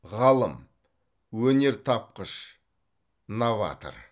ғалым өнертапқыш новатор